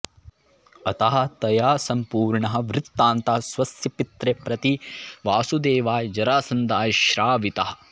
अतः तया सम्पूर्णः वृत्तान्तः स्वस्य पित्रे प्रतिवासुदेवाय जरासन्धाय श्रावितः